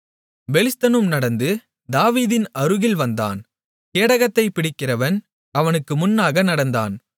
பெலிஸ்தனும் நடந்து தாவீதின் அருகில் வந்தான் கேடகத்தை பிடிக்கிறவன் அவனுக்கு முன்னாக நடந்தான்